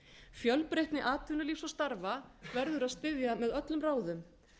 fjölbreytni atvinnulífs og starfa verður að styðja með öllum ráðum